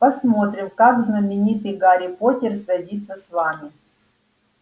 посмотрим как знаменитый гарри поттер сразится с вами